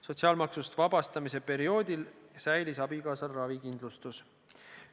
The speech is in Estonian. Sotsiaalmaksust vabastamise perioodil säilis abikaasal ravikindlustus.